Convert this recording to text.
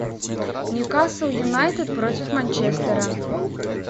ньюкасл юнайтед против манчестера